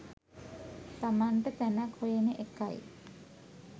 තමන්ට තැනක් හොයන එකයි.